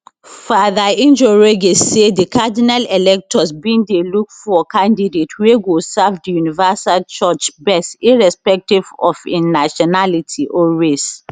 fr njoroge say di cardinal electors bin dey look for candidate wey go serve di universal church best irrespective of im nationality or race